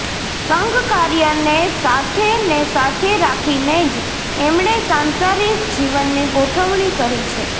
સંઘકાર્યને સાથે ને સાથે રાખીને જ એમણે સાંસારિક જીવનની ગોઠવણી કરી છે